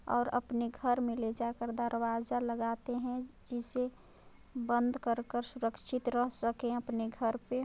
और अपने घर में ले जा कर दरवाजा लगाते है जिसे बंद कर कर सुरक्षित रह सके अपने घर पे--